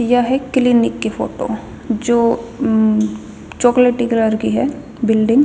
या ह क्लिनिक की फोटो जो अम्म चोकलेटी कलर की ह बिल्डिंग.